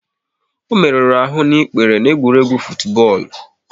Ọ merụrụ ahụ n'ikpere n'egwuregwu futubọọlu